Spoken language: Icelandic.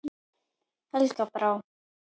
Helga Brá.